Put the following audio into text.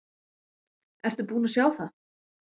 Ertu búinn að sjá það?